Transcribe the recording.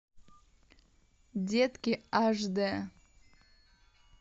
детки аш дэ